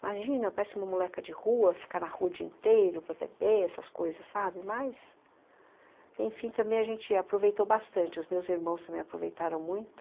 Imagina, parece uma moleca de rua, ficar na rua o dia inteiro pepepe essas coisas, sabe, mas... Enfim, também a gente aproveitou bastante, os meus irmãos também aproveitaram muito.